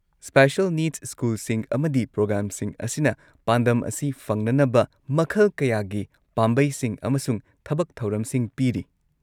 Special ꯅꯤꯗꯁ ꯁ꯭ꯀꯨꯜꯁꯤꯡ ꯑꯃꯗꯤ ꯄ꯭ꯔꯣꯒ꯭ꯔꯥꯝꯁꯤꯡ ꯑꯁꯤꯅ ꯄꯥꯟꯗꯝ ꯑꯁꯤ ꯐꯪꯅꯅꯕ ꯃꯈꯜ ꯀꯌꯥꯒꯤ ꯄꯥꯝꯕꯩꯁꯤꯡ ꯑꯃꯁꯨꯡ ꯊꯕꯛ ꯊꯧꯔꯝꯁꯤꯡ ꯄꯤꯔꯤ꯫